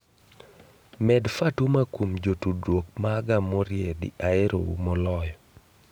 med Fatuma kuom jotudruok maga moriedi aerou moloyo